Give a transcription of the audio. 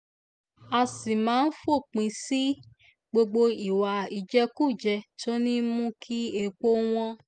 á sì máa fòpin sí gbogbo ìwà ìjẹkújẹ tó ń mú kí epo wọn